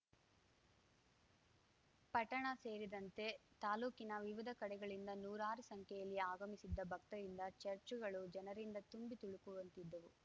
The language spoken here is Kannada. ಪಟ್ಟಣ ಸೇರಿದಂತೆ ತಾಲೂಕಿನ ವಿವಿಧ ಕಡೆಗಳಿಂದ ನೂರಾರು ಸಂಖ್ಯೆಯಲ್ಲಿ ಆಗಮಿಸಿದ್ದ ಭಕ್ತರಿಂದ ಚಚ್‌ರ್‍ಗಳು ಜನರಿಂದ ತುಂಬಿ ತುಳುಕುವಂತಿದ್ದವು